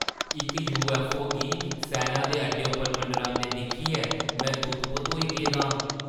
इक यूऐफ्फओ गी सैना दे अड्डे उप्पर मंडरांदे दिक्खियै में तुत्त-बुत्त होई गेदा आं।